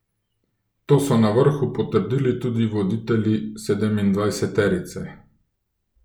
To so na vrhu potrdili tudi voditelji sedemindvajseterice.